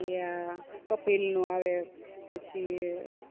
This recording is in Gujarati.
ઈ આ કપિલ નું આવે પછી